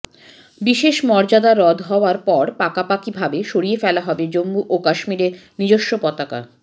বিশেষ মর্যাদা রদ হওয়ার পর পাকাপাকিভাবে সরিয়ে ফেলা হবে জম্মু ও কাশ্মীরের নিজস্ব পতাকা